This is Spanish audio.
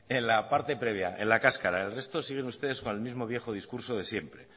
en la parte previa en la cáscara el resto siguen ustedes con el mismo viejo discurso de siempre